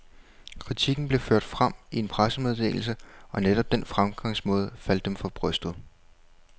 Kritikken blev ført frem i en pressemeddelse, og netop den fremgangsmåde faldt dem for brystet.